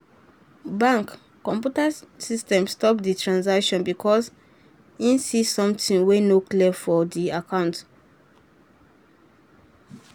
bank computer system stop the transaction because e see something wey no clear for the account.